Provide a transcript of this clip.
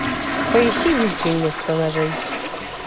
поищи вилки вместо ножей